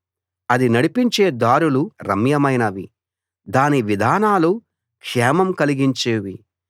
అది నడిపించే దారులు రమ్యమైనవి దాని విధానాలు క్షేమం కలిగించేవి